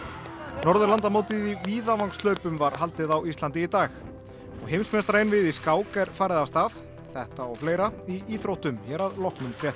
Norðurlandamótið í var haldið á Íslandi í dag og heimsmeistaraeinvígið í skák er farið af stað þetta og fleira í íþróttum hér að loknum fréttum